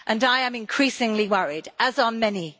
I am increasingly worried, as are many.